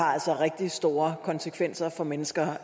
har altså rigtig store konsekvenser for mennesker